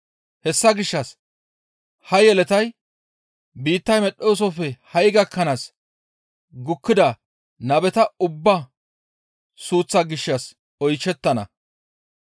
Hessa gishshas ha yeletay biittay medhettoosofe ha7i gakkanaas gukkida nabeta ubbaa suuththaa gishshas oyshettana.